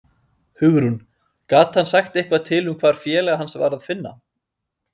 Hugrún: Gat hann sagt eitthvað til um hvar félaga hans var að finna?